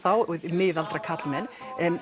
miðaldra karlmenn